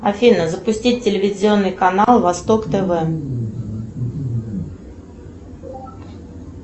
афина запустить телевизионный канал восток тв